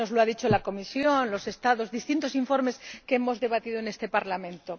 Así nos lo han dicho la Comisión, los Estados y distintos informes que hemos debatido en este Parlamento.